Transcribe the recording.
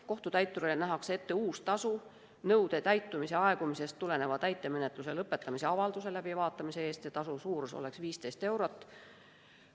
Kohtutäiturile nähakse ette uus tasu nõude täitmise aegumisest tuleneva täitemenetluse lõpetamise avalduse läbivaatamise eest ja tasu suurus on 15 eurot.